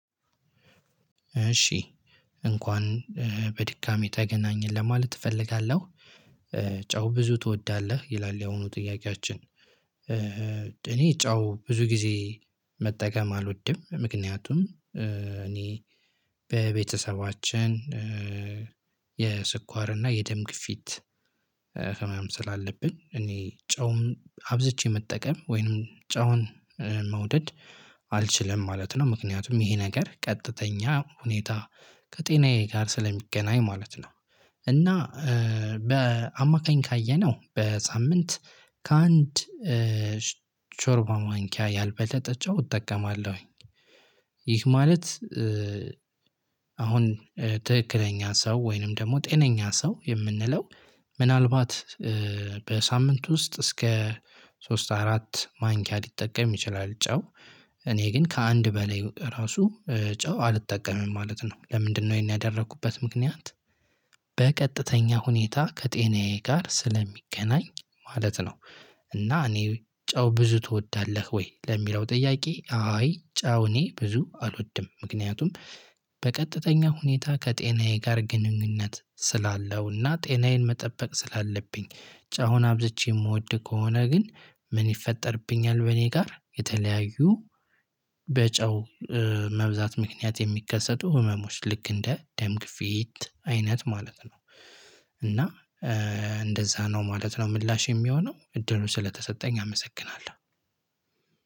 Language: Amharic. እሺ እንኳን በድጋሜ ተገናኘን ለማለት እፈልጋለሁ። ጨው ብዙ ትወዳለህ ይላል ያሁኑ ጥያቄያችን እኔ ጨው ብዙ ጊዜ መጠቀም አልወድም ምክንያቱም እኔ በቤተሰባችን የስኳር እና የደም ግፊት ህመም ስላለብን እኔ ጨውም አብዝቼ መጠቀም ወይንም ጨውን መውደድ አልችልም ማለት ነው ምክንያቱም ይሄ ነገር ቀጥተኛ ሁኔታ ከጤናዬ ጋር ስለሚገናኝ ማለት ነው። እና በአማካኝ ካየነው በሳምንት ከአንድ ሾርባ ማንኪያ ያልበለጠችው እጠቀማለሁኝ። ይህ ማለት አሁን ትክክለኛ ሰው ወይንም ደግሞ ጤነኛ ሰው የምንለው ምናልባት በሳምንት ውስጥ እስከ ሶስት አራት ማንኪያ ሊጠቀም ይችላል። ጨው እኔ ግን ከአንድ በላይ ራሱ ጨው አልጠቀምም ማለት ነው። ለምንድነው? ይሄን ያደረኩበት ምክንያት በቀጥተኛ ሁኔታ ከጤናዬ ጋር ስለሚገናኝ ማለት ነው። እና እኔ ጨው ብዙ ትወዳለህ ወይ? ለሚለው ጥያቄ አይ ጨው እኔ ብዙ አልወድም ምክንያቱም በቀጥተኛ ሁኔታ ከጤናዬ ጋር ግንኙነት ስላለውና ጤናዬን መጠበቅ ስላለብኝ ጨውን አብዝቼ የምወድ ከሆነ ግን ምን ይፈጠርብኛል በእኔ ጋር የተለያዩ በጨው መብዛት ምክንያት የሚከሰቱ ህመሞች ልክ እንደ ደም ግፊት አይነት ማለት ነው። እና እንደዛ ነው ማለት ነው። ምላሽ የሚሆነው እድሉን ስለተሰጠኝ አመሰግናለሁ።